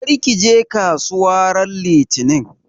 Kar ka je kasuwa ran Litinin!